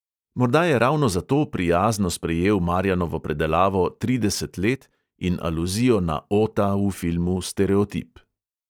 Morda je ravno zato prijazno sprejel marjanovo predelavo trideset let in aluzijo na ota v filmu stereotip.